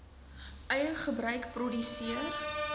eie gebruik produseer